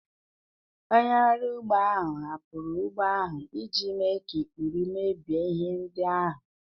Onye ọrụ ugbo ahụ hapụrụ ugbo ahụ iji mee ka ikpuru mebie ihe ndị ahụ